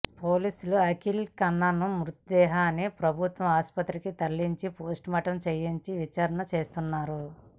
పోలీసులు అఖిల్ కన్నన్ మృతదేహాన్ని ప్రభుత్వ ఆసుపత్రికి తరలించి పోస్టుమార్టం చేయించి విచారణ చేస్తున్నారు